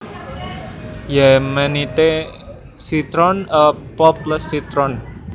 Yemenite citron a pulpless citron